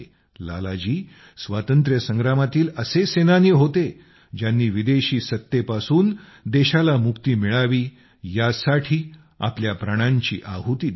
लाला जी स्वातंत्र्य संग्रामातील असे सेनानी होते ज्यांनी विदेशी सत्तेपासून देशाला मुक्ती मिळावी यासाठी आपल्या प्राणांची आहुती दिली